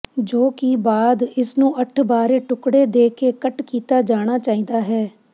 ਜੋ ਕਿ ਬਾਅਦ ਇਸ ਨੂੰ ਅੱਠ ਬਾਰੇ ਟੁਕੜੇ ਦੇ ਕੇ ਕੱਟ ਕੀਤਾ ਜਾਣਾ ਚਾਹੀਦਾ ਹੈ